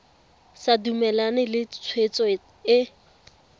sa dumalane le tshwetso e